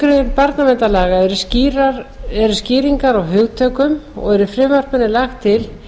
þriðju grein barnaverndarlaga eru skýringar á hugtökum og er í frumvarpinu lagt til